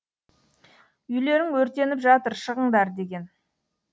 үйлерің өртеніп жатыр шығыңдар деген